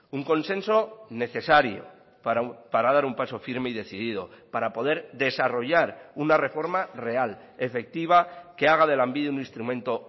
un consenso necesario para dar un paso firme y decidido para poder desarrollar una reforma real efectiva que haga de lanbide un instrumento